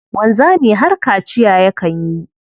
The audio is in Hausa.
Wanzami har kaciya yakan yi.